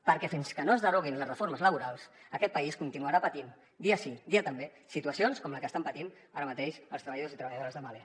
perquè fins que no es deroguin les reformes laborals aquest país continuarà patint dia sí dia també situacions com la que estan patint ara mateix els treballadors i treballadores de mahle